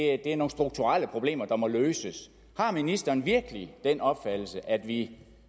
er nogle strukturelle problemer der må løses har ministeren virkelig den opfattelse at vi